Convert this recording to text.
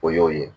O y'o ye